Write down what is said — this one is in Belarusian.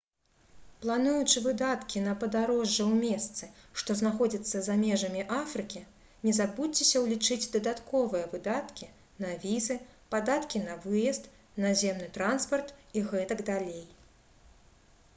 плануючы выдаткі на падарожжа ў месцы што знаходзяцца за межамі афрыкі не забудзьцеся ўлічыць дадатковыя выдаткі на візы падаткі на выезд наземны транспарт і г.д